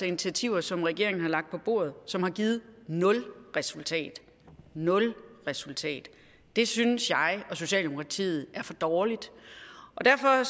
initiativer som regeringen har lagt på bordet som har givet nul resultater nul resultater det synes jeg og socialdemokratiet er for dårligt og derfor